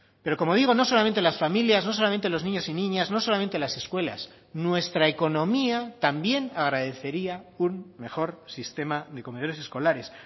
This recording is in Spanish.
pero como digo no solamente las familias no solamente los niños y niñas no solamente las escuelas nuestra economía también agradecería un mejor sistema de comedores escolares